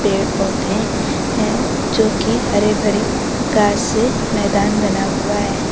पेड़ पौधे है जो की हरे भरे घास से मैदान बना हुआ है।